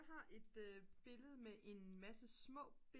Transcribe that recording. har et billede med en masse små